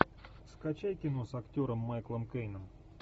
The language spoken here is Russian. скачай кино с актером майклом кейном